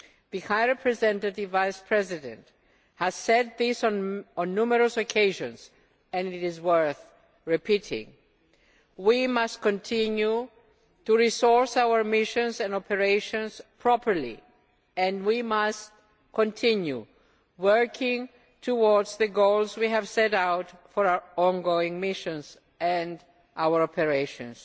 The High Representative has said this on numerous occasions and it is worth repeating we must continue to resource our missions and operations properly and we must continue working towards the goals we have set out for our ongoing missions and our operations.